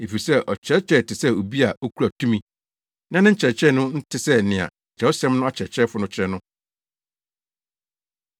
efisɛ ɔkyerɛkyerɛɛ te sɛ obi a okura tumi, na ne nkyerɛkyerɛ no nte sɛ nea Kyerɛwsɛm no akyerɛkyerɛfo no kyerɛ no.